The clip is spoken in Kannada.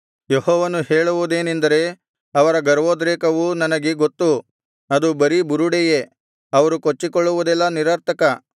ಯೆಹೋವನು ಹೇಳುವುದೇನೆಂದರೆ ಅವರ ಗರ್ವೋದ್ರೇಕವು ನನಗೆ ಗೊತ್ತು ಅದು ಬರೀ ಬುರುಡೆಯೇ ಅವರು ಕೊಚ್ಚಿಕೊಳ್ಳುವುದೆಲ್ಲಾ ನಿರರ್ಥಕ